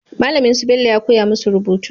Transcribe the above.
Malamin su Bello ya koya musu rubutu